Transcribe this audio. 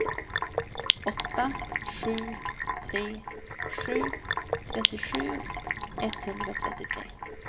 åtta sju tre sju trettiosju etthundratrettiotre